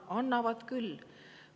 Annavad küll!